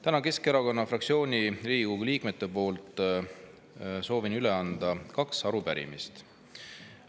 Täna soovin Keskerakonna fraktsiooni Riigikogu liikmete poolt üle anda kaks arupärimist.